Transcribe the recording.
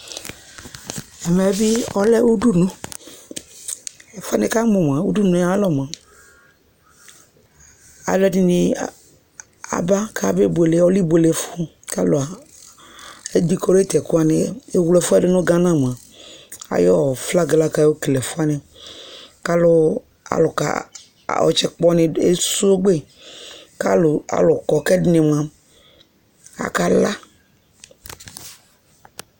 ɛmɛ bi ɔlɛ udunu ɛfuɛ ni ka mo moa udunue alɔ moa aloɛdini aba kabe buele ɔlɛ ibuele fu k'alo edikorait ɛkowani ewle ɛfuɛ do no Ghana moa ayi flag ɛ lako ayɔ okele ɛfu wani k'alò alò ka ɔtsɛ kpɔni esogbe k'alo kɔ k'ɛdini moa aka la